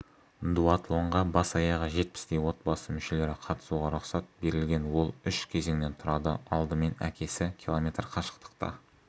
дуатлонға бас-аяғы жетпістей отбасы мүшелері қатысуға рұқсат берілген ол үш кезеңнен тұрады алдымен әкесі км қашықтықта